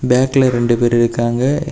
பேக்ல ரெண்டு பேரு இருக்காங்க.